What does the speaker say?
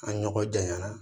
An ɲɔgɔn janyara